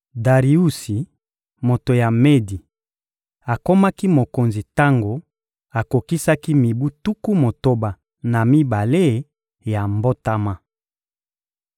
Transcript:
Dariusi, moto ya Medi, akomaki mokonzi tango akokisaki mibu tuku motoba na mibale ya mbotama.